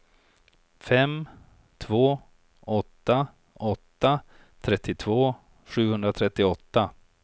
fem två åtta åtta trettiotvå sjuhundratrettioåtta